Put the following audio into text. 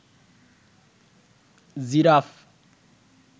giraffe